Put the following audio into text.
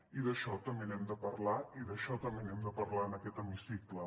i d’això també n’hem de parlar i d’això també n’hem de parlar en aquest hemicicle